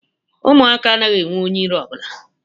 Ụmụaka anaghị enwe onye iro ọ bụla